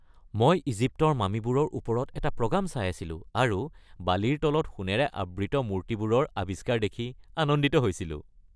মই ইজিপ্তৰ মামিবোৰৰ ওপৰত এটা প্ৰগাম চাই আছিলো আৰু বালিৰ তলত সোণেৰে আবৃত মূৰ্তিবোৰৰ আৱিষ্কাৰ দেখি আনন্দিত হৈছিলো।